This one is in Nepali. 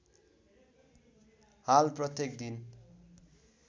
हाल प्रत्येक दिन